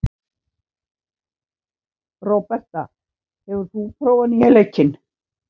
Róberta, hefur þú prófað nýja leikinn?